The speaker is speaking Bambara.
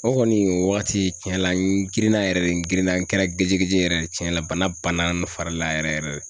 O kɔni o wagati tiɲɛ la n girinna yɛrɛ de n girinna n kɛra gejegeje de tiɲɛna bana banna fari la yɛrɛ yɛrɛ